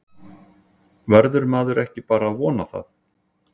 Verður maður ekki bara að vona það?